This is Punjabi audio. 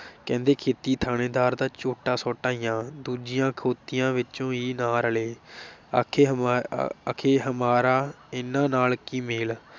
ਕਹਿੰਦੇ ਖੇਤੀ ਥਾਣੇਦਾਰ ਦਾ ਝੋਟਾ ਸੁੱਟ ਆਈਆਂ, ਦੂਜੀਆਂ ਖੋਤੀਆਂ ਵਿਚ ਈ ਨਾ ਰਲੇ ਆਖੇ ਹਮਾ ਅਖੇ ਹਮਾਰਾ ਇਨ੍ਹਾਂ ਨਾਲ ਕੀ ਮੇਲ।